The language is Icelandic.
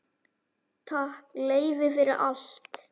Takk, Leifi, fyrir allt.